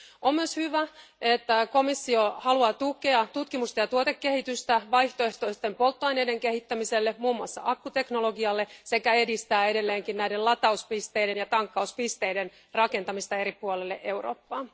On myös hyvä, että komissio haluaa tukea tutkimusta ja tuotekehitystä vaihtoehtoisten polttoaineiden kehittämiselle, muun muassa akkuteknologialle, sekä edistää edelleenkin näiden latauspisteiden ja tankkauspisteiden rakentamista eri puolille Eurooppaa.